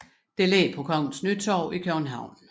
Det ligger på Kongens Nytorv i København